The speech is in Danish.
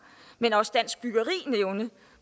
men også dansk byggeri nævne